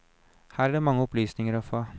Her er det mange opplysninger å få.